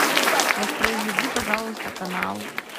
воспроизведи пожалуйста канал